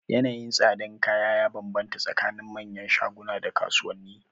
Yanayin tsadar kaya ya banbanta tsakanin manyan shaguna da kasuwanni.